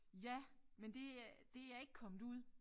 Ja men det er det er ikke kommet ud